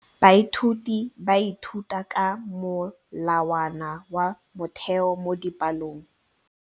Baithuti ba ithuta ka molawana wa motheo mo dipalong.